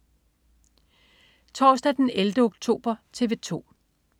Torsdag den 11. oktober - TV 2: